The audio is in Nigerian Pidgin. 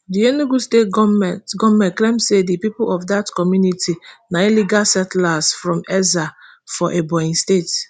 di enugu state goment goment claim say di pipo of dat community na illegal settlers from ezza for ebonyi state